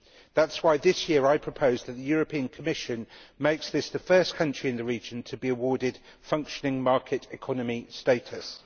That is why, this year, I propose that the European Commission make this the first country in the region to be awarded functioning market economy status.